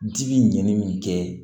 Ji bi ɲɛnni min kɛ